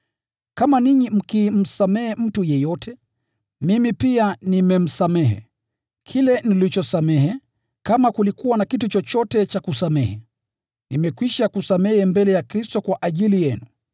Kama ninyi mkimsamehe mtu yeyote, mimi pia nimemsamehe. Kile nilichosamehe, kama kulikuwa na kitu chochote cha kusamehe, nimekwisha kusamehe mbele ya Kristo kwa ajili yenu,